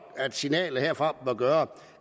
at signalet herfra bør gøre